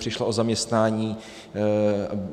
Přišla o zaměstnání.